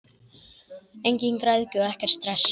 Engin græðgi og ekkert stress!